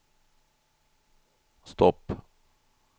stopp